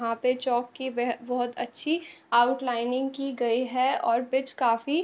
यहां पे चौक की वह बहोत अच्छी आउटलाइनिंग की गई है और पिच काफी --